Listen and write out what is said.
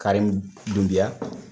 Karimu dunbiya